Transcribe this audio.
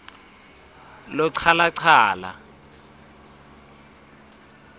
lochalachala